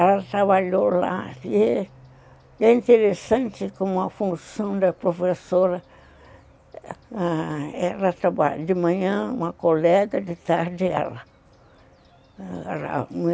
Ela trabalhou lá e é interessante como a função da professora, ãh... de manhã uma colega, de tarde ela